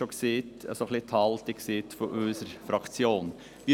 Ich habe bereits während dessen Begründung die Haltung unserer Fraktion ausgedrückt.